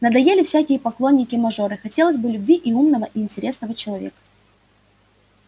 надоели всякие поклонники-мажоры хотелось бы любви умного и интересного человека